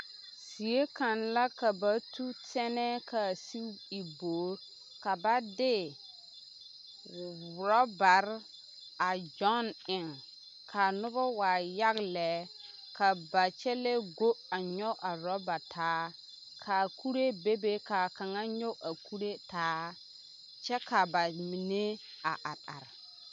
Zie kaŋ la ka ba tu tɛnɛɛ ka a sigi e bogi ka ba de ɔrɔɔbaare a gyɔn eŋ ka noba waa yaga lɛ ka ba kyɛlɛɛ go a nyɔge a ɔrɔɔba taa kaa kuree bebe ka a kaŋ nyɔge a kuree taa kyɛ ka ba mine a are are.